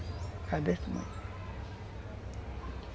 Era desse tamanho.